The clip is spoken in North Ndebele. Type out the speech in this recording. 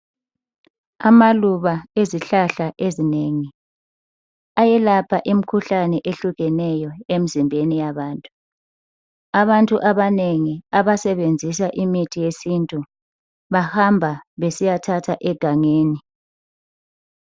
Amaluba ezihlahla ezinengi ayelapha imkhuhlane ehlukeneyo emzimbeni yabantu. Abantu abanengi abasebenzisa imithi yesintu bahamba besiyathatha egangeni